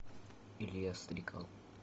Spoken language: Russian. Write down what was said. илья стрекал